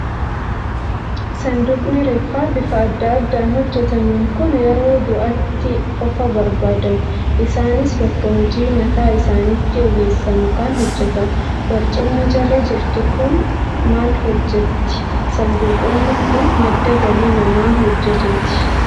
Saanduqni reeffaa bifa adda addaan hojjetaman kun yeroo du'aatti qofaa barbaadamu. Isaanis bakka hojii mataa isaaniitti ogeessa mukaan hojjetamu. Barcumni jala jirtu kun maal hojjetti? Saanduqoonni kun madda galii nama hojjetuuti.